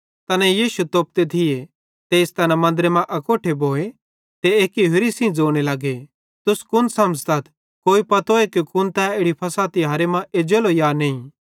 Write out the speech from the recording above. तैना यीशु तोपते थिये तेइस तैना मन्दरे मां अकोट्ठे भोए ते एक्की होरि सेइं ज़ोने लगे तुस कुन समझ़तथ कोई पत्तोए कुन तै इड़ी फ़सह तिहारे मां एज्जेलो कि नईं